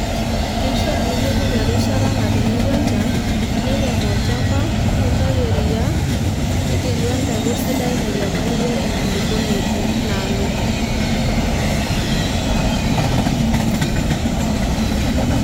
keishaa niyiolou erishatas natinyikua enchan nirem olchamba nintayu eria nigelu empeku sidai nairiamariyie enkulukuoni inaalo.